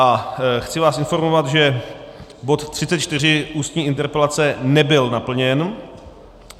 A chci vás informovat, že bod 34 - Ústní interpelace nebyl naplněn.